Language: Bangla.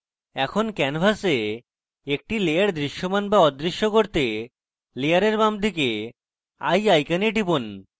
এখন canvas একটি layer দৃশ্যমান to অদৃশ্য করতে layer বামদিকে eye icon টিপুন